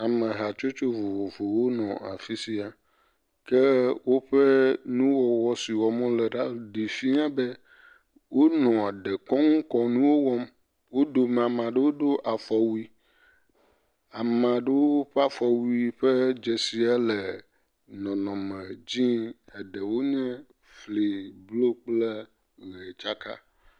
Ame hatsotso vovovowo wo nɔ afisia ke woƒe nuwɔwɔ si wɔm wole la ɖi fiã be wo nɔa dekɔnu kɔnuwo wɔm. Wodomea, amaɖewo do afɔwui, amaɖo ƒe afɔwui ƒe dzesiele nɔnɔ me dzĩ eɖewo nye fli blu kple ɣe tsaka.